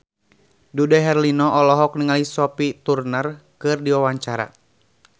Dude Herlino olohok ningali Sophie Turner keur diwawancara